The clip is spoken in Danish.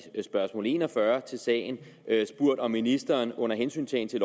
spørgsmål en og fyrre til sagen spurgt om ministeren under hensyntagen til